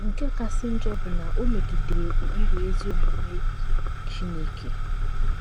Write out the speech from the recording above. Nke kasị njọ bụ na o megidere ụkpụrụ ezi omume Chineke.